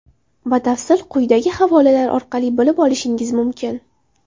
Batafsil quyidagi havolalar orqali bilib olishingiz mumkin: .